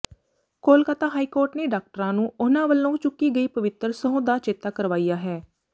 Kolkata High Court ਨੇ ਡਾਕਟਰਾਂ ਨੂੰ ਉਨ੍ਹਾਂ ਵਲੋਂ ਚੁੱਕੀ ਗਈ ਪਵਿੱਤਰ ਸਹੁੰ ਦਾ ਚੇਤਾ ਕਰਵਾਇਆ ਹੈ